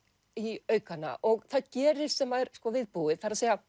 í aukana og það gerist sem var viðbúið það er